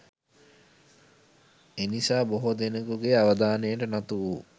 එනිසා බොහෝ දෙනාගේ අවධානයට නතු වූ